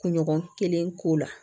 Kunɲɔgɔn kelen k'o la